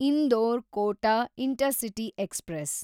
Indore Kota intercity express